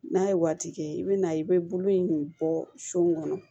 N'a ye waati kɛ i bɛ na i bɛ bolo in de bɔ sun kɔnɔ